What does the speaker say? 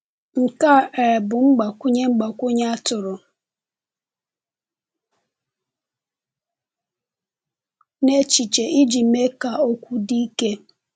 Nke a um bụ mgbakwunye mgbakwunye a tụrụ n’echiche iji mee ka okwu dị ike.